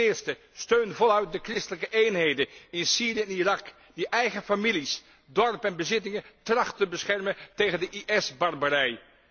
Ten eerste steun voluit de christelijke eenheden in Syrië en Irak die eigen families, dorpen en bezittingen trachten te beschermen tegen de IS barbarij.